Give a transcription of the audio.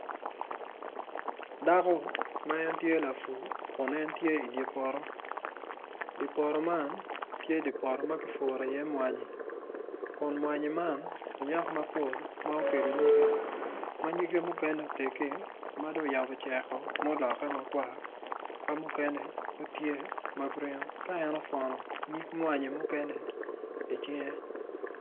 Dako ma en tye lapur kun en tye i dye poto dye poto man tye poto ma kipuro iye mwanyi kun mwanyi man onyak nyige ma nyige mukene odng otegi ma ocako cek woko ma oloke makwar.